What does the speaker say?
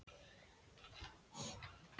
Stóð honum nú til boða gott skiprúm á Ísafirði.